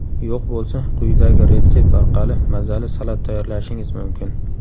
Yo‘q bo‘lsa quyidagi retsept orqali mazali salat tayyorlashingiz mumkin.